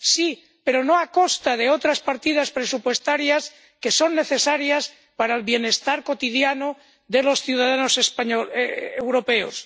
Sí, pero no a costa de otras partidas presupuestarias que son necesarias para el bienestar cotidiano de los ciudadanos europeos.